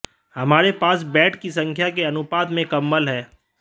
हमारे पास बेड की संख्या के अनुपात में कंबल है